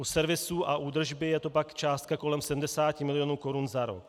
U servisů a údržby je to pak částka kolem 70 milionů korun za rok.